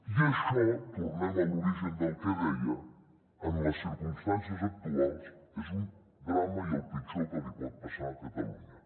i això tornem a l’origen del que deia en les circumstàncies actuals és un drama i el pitjor que li pot passar a catalunya